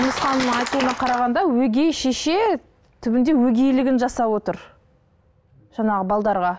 айтуына қарағанда өгей шеше түбінде өгейлігін жасап отыр жаңағы